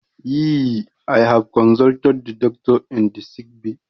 Yee, i have consulted the doctor in the sick bay?